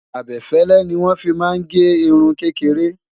abefele ní wọn fí má gé irún kékeré